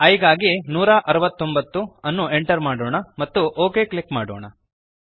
i ಗಾಗಿ 169 ಅನ್ನು enter ಮಾಡೋಣ ಮತ್ತು ಒಕ್ ಕ್ಲಿಕ್ ಮಾಡೋಣ